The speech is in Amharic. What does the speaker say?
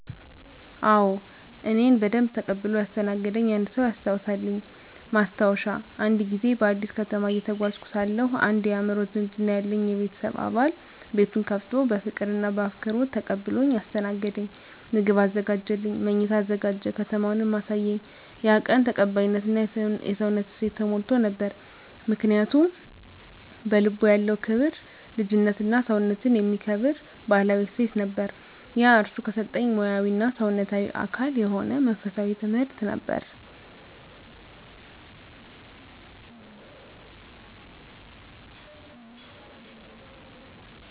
አዎ፣ እኔን በደንብ ተቀብሎ ያስተናገደኝ አንድ ሰው ያስታውሳልኝ። ማስታወሻ፦ አንድ ጊዜ በአዲስ ከተማ እየተጓዝኩ ሳለሁ አንድ የአእምሮ ዝምድና ያለኝ የቤተሰብ አባል ቤቱን ከፍቶ በፍቅር እና በአክብሮት ተቀብሎኝ አስተናገደኝ። ምግብ አዘጋጀልኝ፣ መኝታ አዘጋጀ፣ ከተማውንም አሳየኝ። ያ ቀን ተቀባይነት እና የሰውነት እሴት ተሞልቶ ነበር። ምክንያቱ? በልቡ ያለው ክብር፣ ልጅነትና ሰውነትን የሚከብር ባህላዊ እሴት ነበር። ያ እርሱ ከሰጠኝ ሙያዊ እና ሰውነታዊ አካል የሆነ መንፈሳዊ ትምህርት ነበር።